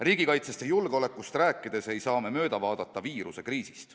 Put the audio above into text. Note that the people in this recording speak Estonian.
Riigikaitsest ja julgeolekust rääkides ei saa me mööda vaadata viirusekriisist.